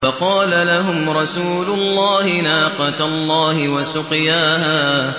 فَقَالَ لَهُمْ رَسُولُ اللَّهِ نَاقَةَ اللَّهِ وَسُقْيَاهَا